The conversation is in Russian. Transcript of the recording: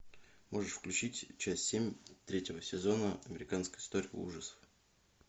можешь включить часть семь третьего сезона американская история ужасов